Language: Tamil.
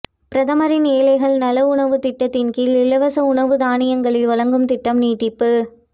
பிரதமரின் ஏழைகள் நல உணவுத் திட்டத்தின் கீழ் இலவச உணவு தானியங்களை வழங்கும் திட்டம் நீட்டிப்பு